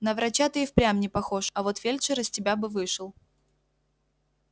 на врача ты и впрямь не похож а вот фельдшер из тебя бы вышел